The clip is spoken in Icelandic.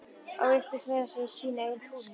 Og villtist meira að segja í sínu eigin túni.